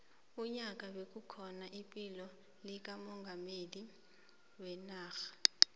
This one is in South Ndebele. unyaka bekukhona iphiko likamongameli wenarha